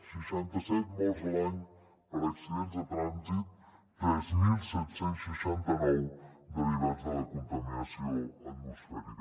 seixanta set morts a l’any per accidents de trànsit tres mil set cents i seixanta nou derivats de la contaminació atmosfèrica